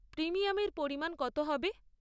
প্রিমিয়ামের পরিমাণ কত হবে?